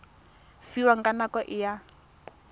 fiwang ka nako e a